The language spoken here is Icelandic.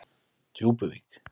Djúpuvík